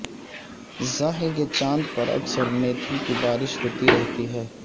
زحل کے چاند پر اکثر میتھین کی بارش ہوتی رہتی ہے